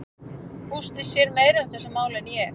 Gústi sér meira um þessi mál en ég.